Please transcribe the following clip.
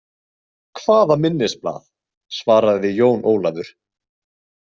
Hvaða minnisblað, svaraði Jón Ólafur.